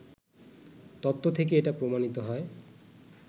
তত্ত্ব থেকে এটা প্রমাণিত হয়